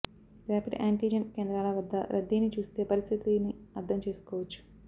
rapid antigen కేంద్రాల వద్ద రద్దీని చూస్తే పరిస్థితిని అర్థం చేసుకోవచ్చు